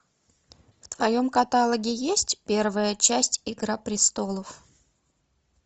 в твоем каталоге есть первая часть игра престолов